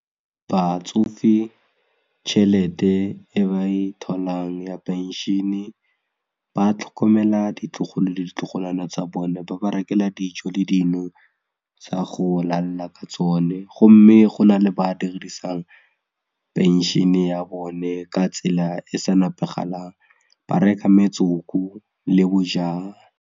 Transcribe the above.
Batsofe tšhelete e ba e tholang ya phenšene ba tlhokomela ditlogolo le ditlogolwana tsa bone ba ba rekela dijo le dino tsa go lalla ka tsone gomme go na le ba dirisang phenšene ya bone ka tsela e sa nepagalang ba reka metsoko le bojalwa.